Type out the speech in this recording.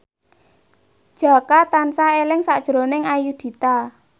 Jaka tansah eling sakjroning Ayudhita